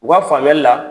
U ka faamuyali la